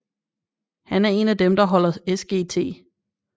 Han er en af dem der holder Sgt